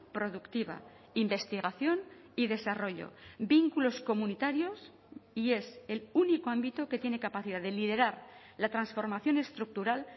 productiva investigación y desarrollo vínculos comunitarios y es el único ámbito que tiene capacidad de liderar la transformación estructural